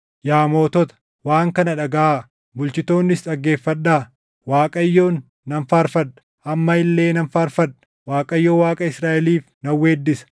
“Yaa mootota, waan kana dhagaʼaa! Bulchitoonnis dhaggeeffadhaa! Waaqayyoon nan faarfadha; amma illee nan faarfadha; Waaqayyo Waaqa Israaʼeliif nan weeddisa.